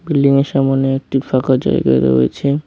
বিল্ডিংয়ের সামোনে একটি ফাঁকা জায়গা রয়েছে।